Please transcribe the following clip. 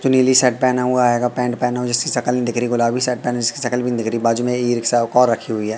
जो नीली शर्ट पहना हुआ है आ गा पैन्ट पहना हुआ जिसकी सकल नहीं दिख रही है। गुलाबी शर्ट पहना है जिसकी सकल भी नहीं दिख रही है। बाजू में ई रिक्शा कॉ रखी हुई है।